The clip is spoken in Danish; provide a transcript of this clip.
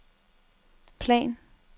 plan